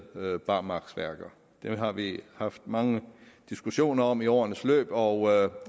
barmarksværker dem har vi haft mange diskussioner om i årenes løb og